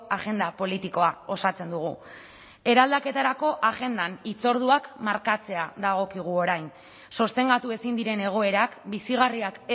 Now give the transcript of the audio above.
agenda politikoa osatzen dugu eraldaketarako agendan hitzorduak markatzea dagokigu orain sostengatu ezin diren egoerak bizigarriak